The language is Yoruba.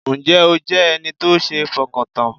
Ǹ jẹ́ o jẹ́ ẹni tó sé fọkàn tán?